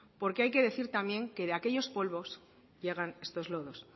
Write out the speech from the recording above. porque hay que decir también que de aquellos polvos llegan estos lodos